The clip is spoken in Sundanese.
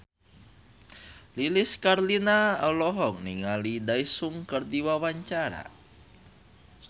Lilis Karlina olohok ningali Daesung keur diwawancara